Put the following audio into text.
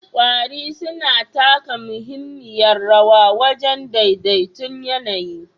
Ƙwari suna taka muhimmiyar rawa wajen daidai ton yAnayi